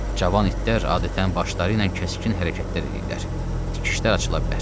Cavan itlər adətən başları ilə kəskin hərəkətlər eləyirlər, tikişlər açıla bilər.